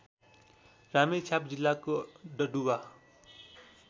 रामेछाप जिल्लाको डडुवा